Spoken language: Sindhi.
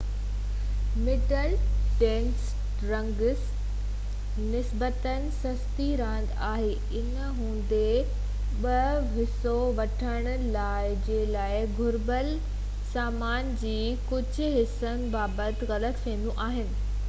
مڊل ڊسٽينس رننگ نسبتاً سستي راند آهي ان هوندي بہ حصو وٺڻ جي لاءِ گهربل سامان جي ڪجهہ حصن بابت غلط فهميون آهن